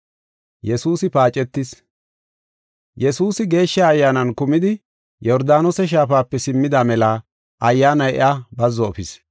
Yesuusi Geeshsha Ayyaanan kumidi Yordaanose Shaafape simmida mela Ayyaanay iya mela biitta efis.